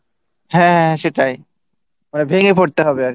হ্যাঁ সেটাই ভেঙে পড়তে হবে আর কী